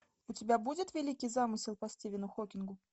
у тебя будет великий замысел по стивену хокингу